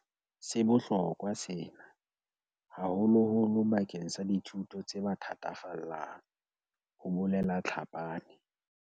"Se bohlokwa sena, haholoholo bakeng sa dithuto tse ba thatafallang," ho bolela Tlhapane.